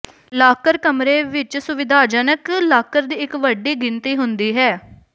locker ਕਮਰੇ ਵਿੱਚ ਸੁਵਿਧਾਜਨਕ ਲਾਕਰ ਦੀ ਇੱਕ ਵੱਡੀ ਗਿਣਤੀ ਹੁੰਦੀ ਹੈ